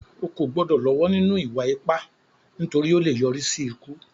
O kò gbọ́dọ̀ lọ́wọ́ nínú ìwà ipá, nítorí ó lè yọrí sí ikú